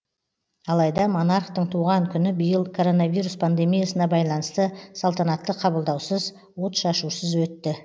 алайда монархтың туған күні биыл коронавирус пандемиясына байланысты салтанатты қабылдаусыз отшашусыз өтті